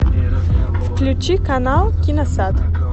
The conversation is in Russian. включи канал киносад